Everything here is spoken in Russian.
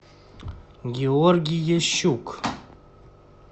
георгий ящук